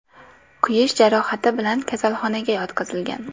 kuyish jarohati bilan kasalxonaga yotqizilgan.